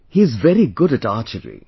He is very good at Archery